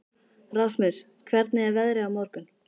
Rasmus, hvernig er veðrið á morgun?